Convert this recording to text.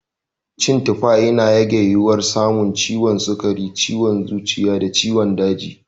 Cin tufa, yana rage yiwuwar samun ciwon sukari, ciwon zuciya da ciwon daji.